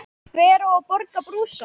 Hver á að borga brúsann?